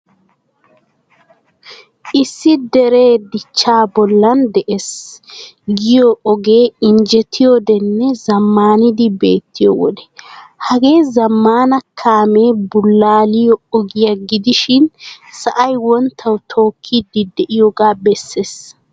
Issi dere dichcha bollan de'ees giyoy ogee injjettiyodenne zammanidi beettiyode. Hagee zammaana kaame bululiyo oggiya gidishin sa"ay wonttawu tokkidi deiyoga bessees.